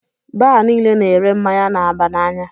Baar niile na -ere mmáñyá na-aba n'anya.